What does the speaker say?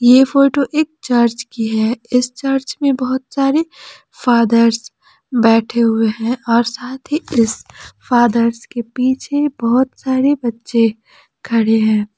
यह फोटो एक चर्च की है इस चर्च में बहुत सारे फादर्स बैठे हुए हैं और साथ ही इस फादर्स के पीछे बहुत सारे बच्चे खड़े हैं।